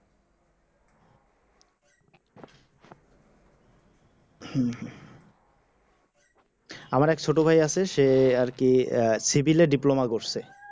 আমারে ছোট আছে সে আর কি সিভিলে diploma করছে